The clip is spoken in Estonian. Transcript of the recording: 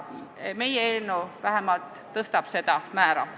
Meie eelnõu eesmärk on seda määra tõsta.